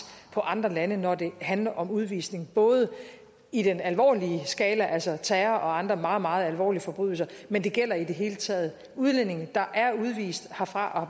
på andre lande når det handler om udvisning både i den alvorlige skala altså terror og andre meget meget alvorlige forbrydelser men det gælder i det hele taget udlændinge der er udvist herfra